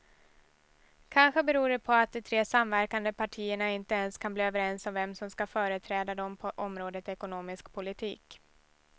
Kanske beror det på att de tre samverkande partierna inte ens kan bli överens om vem som ska företräda dem på området ekonomisk politik.